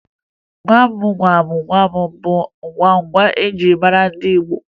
Gwam Gwam Gwam bụ agwụgwa eji mara ndị Igbo